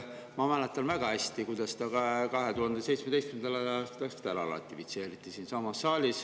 Ma mäletan väga hästi, kuidas see 2017. aastal siinsamas saalis ära ratifitseeriti.